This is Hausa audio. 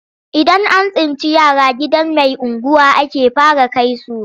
Idan an tsinci yara gidan mai unguwa ake fara kai su,